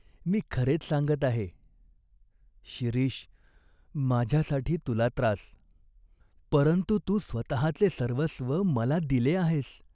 मी खरेच सांगत आहे." "शिरीष, माझ्यासाठी तुला त्रास" "परंतु तू स्वतचे सर्वस्व मला दिले आहेस.